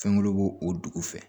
Fɛngɛ b'o o dugu fɛ